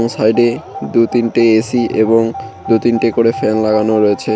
সাইডে দুই তিনটে এ_সি এবং দুই তিনটে করে ফ্যান লাগানো রয়েছে।